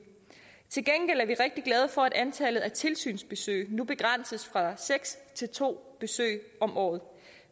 til gengæld er vi rigtig glade for at antallet af tilsynsbesøg nu begrænses fra seks til to besøg om året